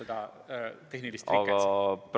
Jaa, meil on tehniline rike.